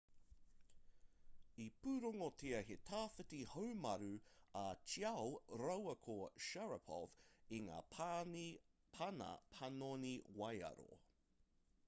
i pūrongotia he tawhiti haumaru a chiao rāua ko sharipov i ngā pana panoni waiaro